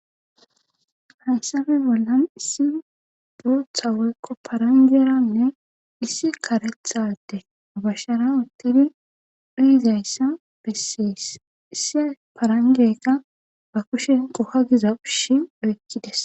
hayssappe bollan issi duutha woyqo parangeranne issi karethade bashshara uttidi dhiizayssa bessees issi parangekka ba kushen qokagiza ushi oykkides